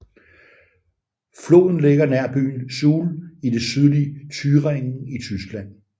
Floden ligger nær byen Suhl i det sydlige Thüringen i Tyskland